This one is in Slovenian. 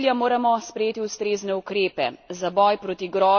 Za dosego tega cilja moramo sprejeti ustrezne ukrepe.